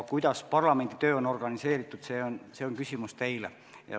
Kuidas parlamendi töö on organiseeritud, see on küsimus teile.